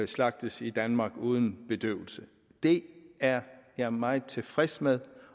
slagtes i danmark uden bedøvelse det er jeg meget tilfreds med